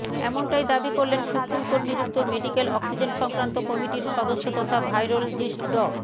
এমনটাই দাবি করলেন সুপ্রিম কোর্ট নিযুক্ত মেডিক্যাল অক্সিজেন সংক্রান্ত কমিটির সদস্য তথা ভাইরোলজিস্ট ড